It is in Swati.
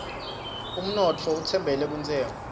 unotfo utfembele kuntshengo